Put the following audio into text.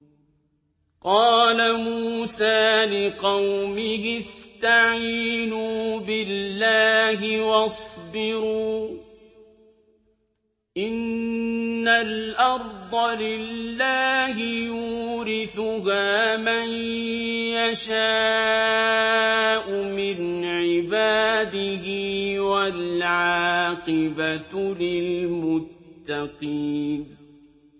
قَالَ مُوسَىٰ لِقَوْمِهِ اسْتَعِينُوا بِاللَّهِ وَاصْبِرُوا ۖ إِنَّ الْأَرْضَ لِلَّهِ يُورِثُهَا مَن يَشَاءُ مِنْ عِبَادِهِ ۖ وَالْعَاقِبَةُ لِلْمُتَّقِينَ